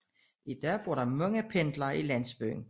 I dag bor der mange pendlere i landsbyen